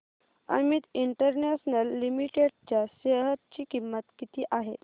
Amit International Limited च्या share ची किंमत किती आहे